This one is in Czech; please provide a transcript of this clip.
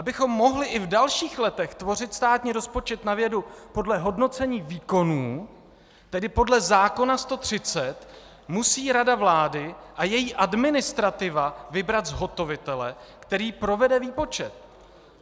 Abychom mohli i v dalších letech tvořit státní rozpočet na vědu podle hodnocení výkonů, tedy podle zákona 130, musí Rada vlády a její administrativa vybrat zhotovitele, který provede výpočet.